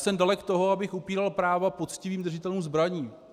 Jsem dalek toho, abych upíral práva poctivým držitelům zbraní.